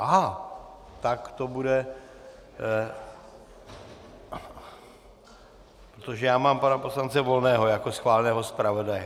Aha, tak to bude..., protože já mám pana poslance Volného jako schváleného zpravodaje.